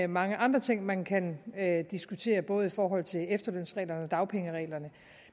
mange andre ting man kan diskutere både i forhold til efterlønsreglerne og dagpengereglerne